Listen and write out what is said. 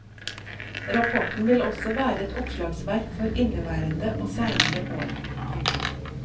Rapporten vil også være et oppslagsverk for inneværende og seinere år. punktum